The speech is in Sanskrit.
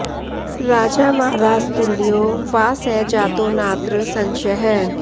राजा वा राजतुल्यो वा स जातो नात्र संशयः